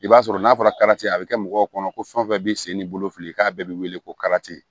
I b'a sɔrɔ n'a fɔra a bi kɛ mɔgɔw kɔnɔ ko fɛn fɛn bi sen ni bolo fili k'a bɛɛ bi weele ko